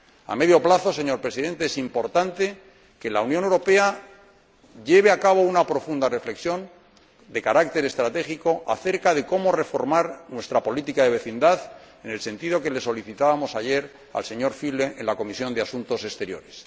A medio plazo, señor Presidente, es importante que la Unión Europea lleve a cabo una profunda reflexión de carácter estratégico acerca de cómo reformar nuestra política de vecindad en el sentido que solicitábamos ayer al señor Füle en la Comisión de Asuntos Exteriores.